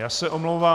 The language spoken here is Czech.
Já se omlouvám.